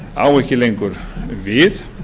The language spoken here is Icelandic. á ekki lengur við